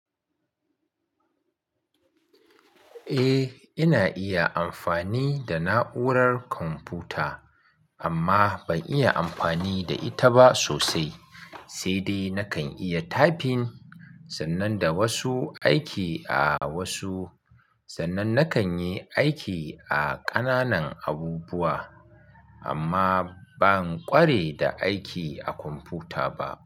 Eh, ina iya amfani da na'urar kwamfuta amma ban iya amfani da ita ba sosai. Sai dai nakan iya typing sannan da wasu aiki a wasu sannan nakan yi aiki a ƙananan abubuwa amma ban ƙware da aiki a kwamfuta ba.